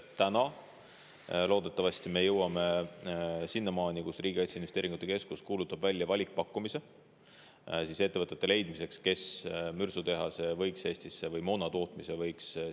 Täna me loodetavasti jõuame sinnamaani, et Riigi Kaitseinvesteeringute Keskus kuulutab välja valikpakkumise, et leida ettevõtted, kes võiks Eestisse mürsu- või moonatootmise tuua.